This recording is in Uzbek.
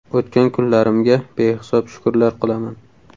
O‘tgan kunlarimga behisob shukrlar qilaman.